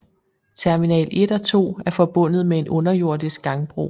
Terminal 1 og 2 er forbundet med en underjordisk gangbro